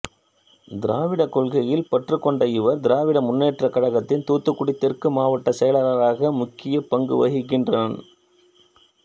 திராவிட கொள்கையில் பற்று கொண்ட இவர் திராவிட முன்னேற்றக் கழகத்தின் தூத்துக்குடி தெற்கு மாவட்ட செயலாளராக முக்கியப் பங்கு வகிக்கின்றார்